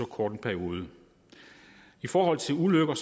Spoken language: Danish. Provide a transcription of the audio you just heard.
kort en periode i forhold til ulykker